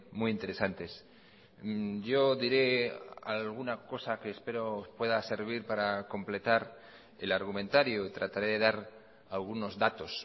muy interesantes yo diré alguna cosa que espero pueda servir para completar el argumentario y trataré de dar algunos datos